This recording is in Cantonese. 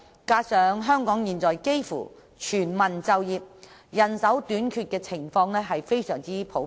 此外，香港現在幾乎全民就業，人手短缺的情況非常普遍。